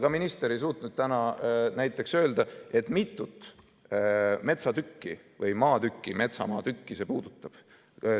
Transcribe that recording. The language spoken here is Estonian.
Ka minister ei suutnud täna näiteks öelda, mitut metsatükki või maatükki, metsamaatükki see puudutab.